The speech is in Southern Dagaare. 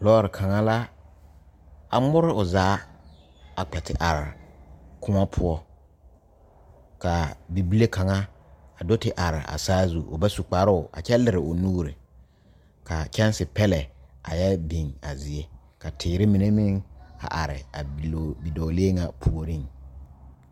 Lɔre kaŋa la a ore o zaa a kpɛ te are kõɔ poɔ ka bibile kaŋa a do te are o zaa o ba su kparoo a kyɛ liri o nuure kaa kyɛnse pelɛ a yɛ biŋ a zie ka teere mine meŋ a are a bidɔɔlee ka puoriŋ